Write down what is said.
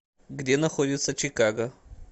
где находится чикаго